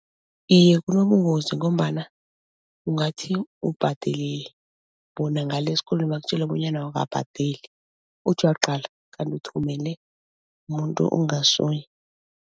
Iye kunobungozi ngombana ungathi ubhadelile bona ngale esikolweni bakutjele bonyana awukabhadeli, uthi uyaqala kanti uthumele umuntu ongasuye.